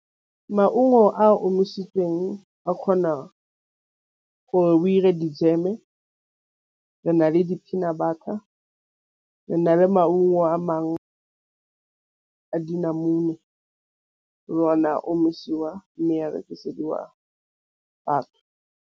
Maungo a omisitsweng a kgona gore o dire dijeme re na le di-peanut butter re na le maungo a mangwe a dinamune le one a omisiwa mme a batho.